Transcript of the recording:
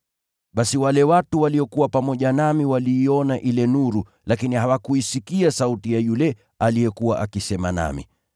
Basi wale watu waliokuwa pamoja nami waliiona ile nuru, lakini hawakuisikia sauti ya yule aliyekuwa akisema nami.